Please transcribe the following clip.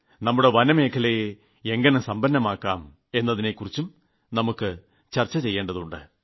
നമ്മുടെ വനമേഖലയെ എങ്ങനെ സമ്പന്നമാക്കാം എതിനെക്കുറിച്ചും ചർച്ച ചെയ്യേണ്ടതുണ്ട്